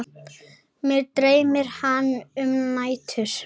Mig dreymir hana um nætur.